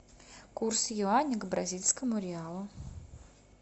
курс юаня к бразильскому реалу